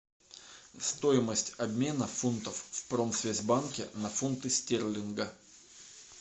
стоимость обмена фунтов в промсвязьбанке на фунты стерлинга